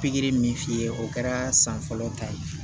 Pikiri min f'i ye o kɛra san fɔlɔ ta ye